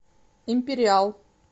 империал